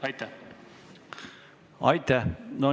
Aitäh!